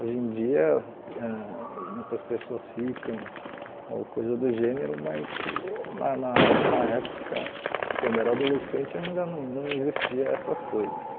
Hoje em dia, ãh muitas pessoas ficam ou coisa do gênero, mas na na na época, quando eu era adolescente, ainda não não existiam essas coisas.